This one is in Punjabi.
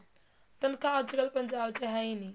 ਤਨਖਾਹ ਅੱਜਕਲ ਪੰਜਾਬ ਚ ਹੈ ਨਹੀਂ